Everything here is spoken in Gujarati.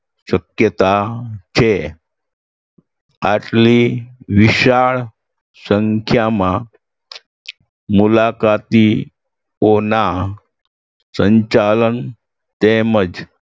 શક્યતા છે આટલી વિશાળ સંખ્યામાં મુલાકાતીઓના સંચાલન તેમજ